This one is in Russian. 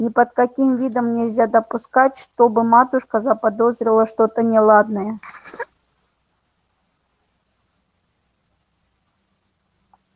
ни под каким видом нельзя допустить чтобы матушка заподозрила что-то неладное